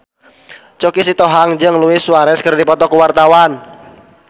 Choky Sitohang jeung Luis Suarez keur dipoto ku wartawan